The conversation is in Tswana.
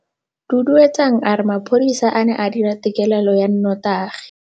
Duduetsang a re mapodisa a ne a dira têkêlêlô ya nnotagi.